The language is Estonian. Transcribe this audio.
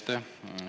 Aitäh!